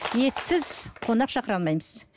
етсіз қонақ шақыра алмаймыз